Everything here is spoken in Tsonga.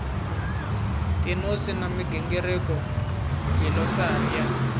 tinotsi na migingiriko dlilosari ya